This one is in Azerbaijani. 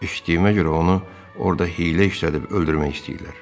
Eşitdiyimə görə onu orada hiylə işlədib öldürmək istəyirlər.